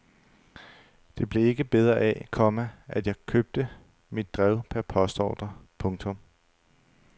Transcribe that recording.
Det blev ikke bedre af, komma at jeg købte mit drev per postordre. punktum